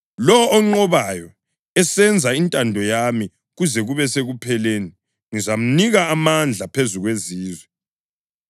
Lowo onqobayo esenza intando yami kuze kube sekupheleni ngizamnika amandla phezu kwezizwe,